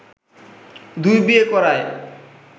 দুই বিয়ে করায়